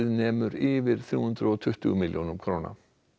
nemur yfir þrjú hundruð og tuttugu milljónum króna